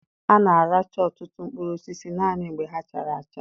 A na-aracha ọtụtụ mkpụrụ osisi naanị mgbe ha chara acha.